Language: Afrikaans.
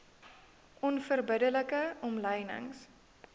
onverbidde like omlynings